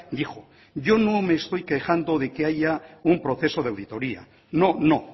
dijo yo no me estoy quejando de que haya un proceso de auditoría no no